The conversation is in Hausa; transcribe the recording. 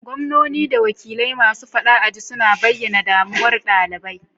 Gwamnoni da wakilai masu fada aji suna bayyana damuwar dalibai.